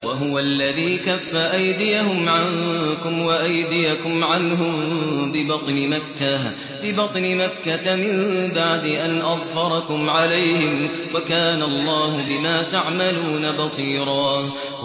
وَهُوَ الَّذِي كَفَّ أَيْدِيَهُمْ عَنكُمْ وَأَيْدِيَكُمْ عَنْهُم بِبَطْنِ مَكَّةَ مِن بَعْدِ أَنْ أَظْفَرَكُمْ عَلَيْهِمْ ۚ وَكَانَ اللَّهُ بِمَا تَعْمَلُونَ بَصِيرًا